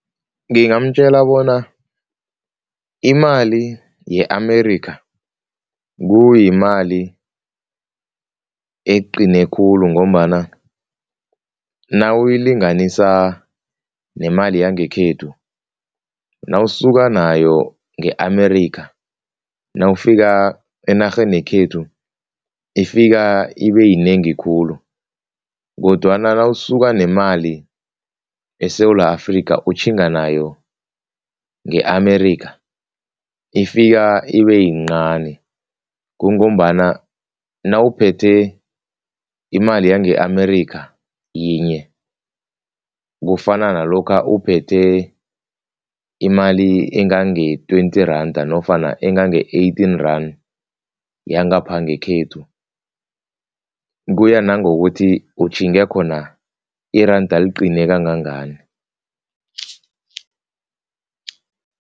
Ngingamtjela bona imali ye-Amerikha kuyimali eqine khulu ngombana nawuyilinganisa nemali yangekhethu, nawusuka nayo nge-Amerika nawufika enarheni yekhethu ifika ibeyinengi khulu kodwana nawusuka nemali eSewula Afrika utjhinga nayo nge-Amerika ifika ibeyincani kungombana nawuphethe imali yange-Amerikha yinye kufana nalokha uphethe imali engange-twenty randa nofana engange-eighteen randa yangapha ngekhethu, kuya nangokuthi utjhinge khona iranda liqine kangangani.